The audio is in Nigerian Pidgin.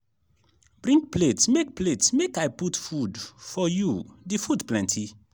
bring plate make plate make i put food for you the food plenty.